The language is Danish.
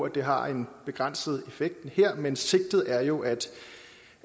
at det har en begrænset effekt her men sigtet er jo